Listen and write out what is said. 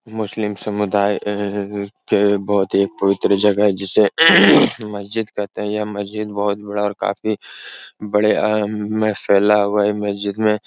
मुस्लिम समुदाय अ के बहोत ही एक पवित्र जगह है जिसे मस्जिद कहते है। यह मस्जिद बहोत बड़ा और काफी बड़े अ में फैला हुआ है। ई मस्जिद में --